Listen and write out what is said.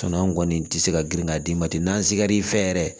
an kɔni tɛ se ka girin ka d'i ma ten n'an sigar'i fɛ yɛrɛ